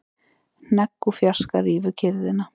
Hnegg úr fjarska rýfur kyrrðina.